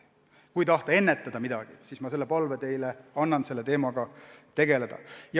Kui tahate mingit probleemi ennetada, siis ma annangi teile edasi palve selle teemaga tegeleda.